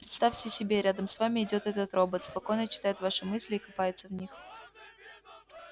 представьте себе рядом с вами идёт этот робот спокойно читает ваши мысли и копается в них